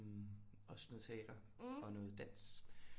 Også noget teater og noget dans